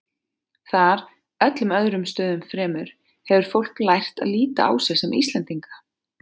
Þar, öllum öðrum stöðum fremur, hefur fólk lært að líta á sig sem Íslendinga.